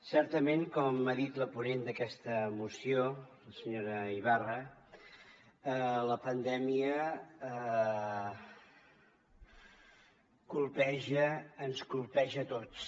certament com ha dit la ponent d’aquesta moció la senyora ibarra la pandèmia colpeja ens colpeja a tots